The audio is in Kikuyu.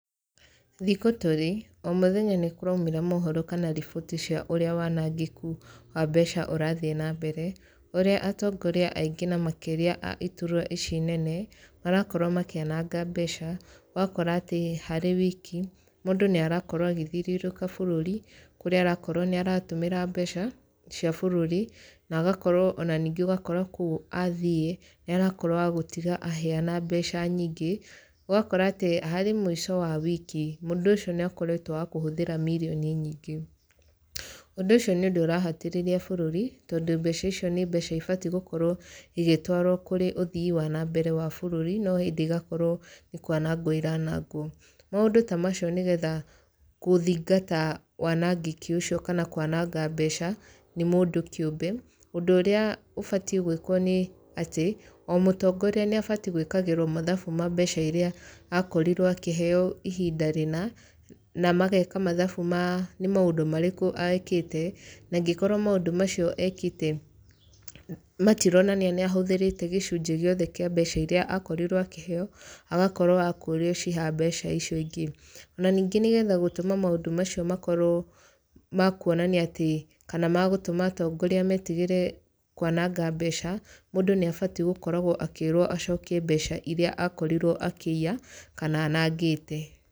Thikũ tũrĩ, o mũthenya nĩ kũraumĩra mohoro kana riboti cia ũrĩa wanangĩku wa mbeca ũrathiĩ na mbere, ũrĩa atongoria aingĩ na makĩria a iturwa ici nene, marakorwo makĩananga mbeca. Ũgakora atĩ harĩ wiki, mũndũ nĩ arakorwo agĩthiũrũrũka bũrũri, kũrĩa arakorwo nĩ aratũmĩra mbeca cia bũrũri, na agakorwo ona ningĩ ũgakora kũu athiĩ, nĩ arakorwo wa gũtiga aheana mbeca nyingĩ. Ũgakora atĩ harĩ mũico wa wiki, mũndũ ũcio nĩ akoretwo wa kũhũthĩra mirioni nyingĩ. Ũndũ ũci nĩ ũndũ ũrahatĩrĩria bũrũri, tondũ mbeca icio nĩ mbeca ibatiĩ gũkorwo igĩtwarwo kũrĩ ũthii wa nambere wa bũrũri, no hĩndĩ igakorwo nĩ kwanangwo iranangwo. Maũndũ ta macio nĩgetha gũthingata wanangĩki ũcio kana kwananga mbeca, nĩ mũndũ kĩũmbe, ũndũ ũrĩa ũbatiĩ gwĩkwo nĩ atĩ, o mũtongoria nĩ abatiĩ gwĩkagĩrwo mathabu ma mbeca irĩa akorirwo akĩheeo ihinda rĩna, na mageka mathabu ma nĩ maũndũ marĩkũ ekĩte. Na angĩkorwo maũndũ macio ekĩte matironania nĩ ahũthĩrĩte gĩcunjĩ gĩothe kĩa mbeca irĩa akorirwo akĩheeo, agakorwo wa kũũrio ciiha mbeca icio ingĩ. Ona ningĩ nĩgetha gũtũma maũndũ macio makorwo ma kuonania atĩ kana ma gũtũma atongoria metigĩre kwananga mbeca, mũndũ nĩ abatiĩ gũkoragwo akĩĩrwo acokie mbeca irĩa akorirwo akĩiya kana anangĩte.